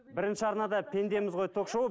бірінші арнада пендеміз ғой ток шоуы